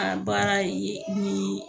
An baara ye ni